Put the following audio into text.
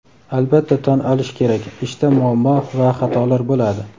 Albatta tan olish kerak ishda muammo va xatolar bo‘ladi.